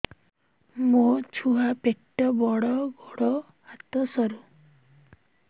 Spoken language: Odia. ମୋ ଛୁଆ ପେଟ ବଡ଼ ଗୋଡ଼ ହାତ ସରୁ